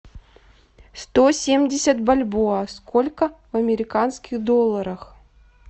сто семьдесят бальбоа сколько в американских долларах